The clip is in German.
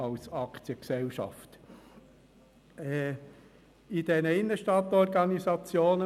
Als Aktiengesellschaft könnten die Münsterkellerei dies gar nicht.